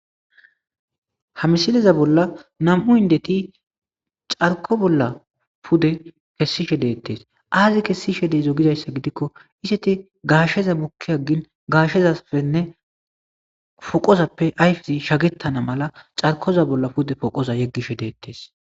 Ha missileza bolla nam'u inddeti carkko bolla pudde kesishe dettesi azi kesishe dizo gidayissa gidikko izeti gashsheza bukkiagin gashshezappene poqqozappe ayiffezi shakketana malla carkkoza bolla pudde poqqoza yeggishe dettes.